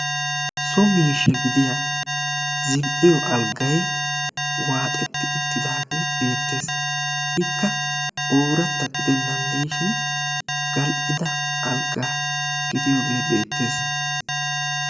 So miishsha gidiyaa zi"iyoo aliggay waaxxeti uttidaage beettees; ikka oorata ginan de'ishin gal"idda algga gidiyooge beettees.